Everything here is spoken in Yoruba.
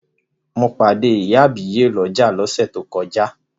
Mo pàdé ìyá àbíyè lọ́jà lọ́sẹ̀ tó kọjá.